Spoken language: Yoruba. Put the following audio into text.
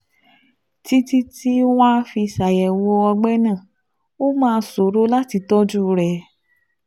Títí tí wọ́n á fi ṣàyẹ̀wò ọgbẹ́ náà, ó máa ṣòro láti tọ́jú rẹ̀